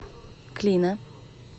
клина